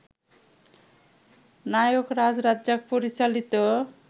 নায়করাজ রাজ্জাক পরিচালিত